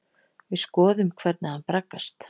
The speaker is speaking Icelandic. Við skoðum hvernig hann braggast.